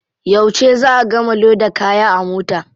Yauce za a gama loda kaya a mota?